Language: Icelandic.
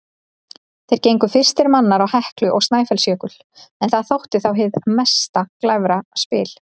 Þeir gengu fyrstir manna á Heklu og Snæfellsjökul, en það þótti þá hið mesta glæfraspil.